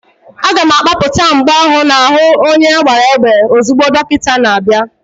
A ga-akpapụta mgbọ ahụ n'ahu onye agbara égbè ozugbo dọkịta na-abịa.